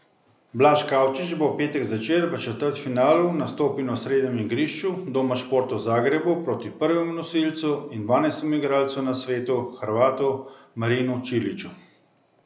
Blaž Kavčič bo v petek zvečer v četrtfinalu nastopil na osrednjem igrišču Doma športov v Zagrebu proti prvemu nosilcu in dvanajstemu igralcu na svetu Hrvatu Marinu Čiliću.